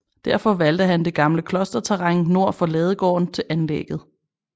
Derfor valgte han det gamle klosterterræn nord for ladegården til anlægget